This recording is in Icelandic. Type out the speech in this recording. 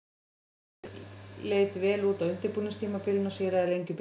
Liðið leit vel út á undirbúningstímabilinu og sigraði Lengjubikarinn.